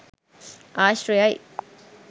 ආශ්‍රයයි.